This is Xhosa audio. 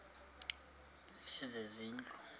lezezindlu